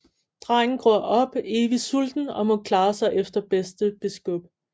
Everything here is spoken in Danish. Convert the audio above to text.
Drengen gror op evigt sulten og må klare sig efter bedste beskub